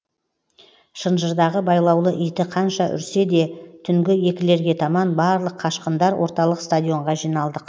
шынжырдағы байлаулы иті қанша үрсе де түнгі екілерге таман барлық қашқындар орталық стадионға жиналдық